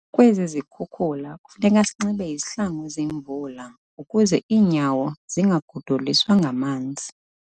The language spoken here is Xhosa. Kwezi zikhukula kufuneka sinxibe izihlangu zemvula ukuze iinyawo zingagodoliswa ngamanzi.